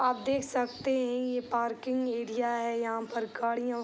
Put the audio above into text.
आप देख सकते हैं ये पार्किंग एरिया है यहां पर गाड़ियों --